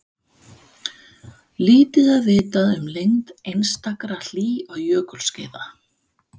Í hópi þjóðsagnasafnara frá þessum tíma eru Englendingurinn